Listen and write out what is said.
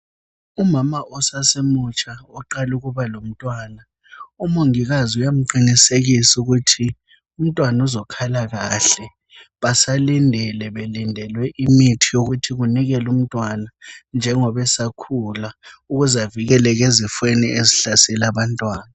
Umama osasemutsha oqala ukuba lomntwana, umongikazi uyamqinisekisa ukuthi umntwana uzakhala kahle basalindile belindelwe imithi yokuthi banike umntwana njengoba esakhula ukuze avikeleke izifweni ezihlasela abantwana.